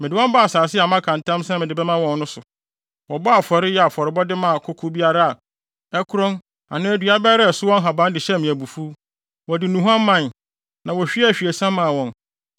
Mede wɔn baa asase a maka ntam sɛ mede bɛma wɔn no so no, wɔbɔɔ afɔre, yɛɛ afɔrebɔde maa koko biara a ɛkorɔn anaa dua biara a ɛso wɔ nhaban de hyɛɛ me abufuw; wɔde nnuhuam mae, na wohwiee ahwiesa maa wɔn.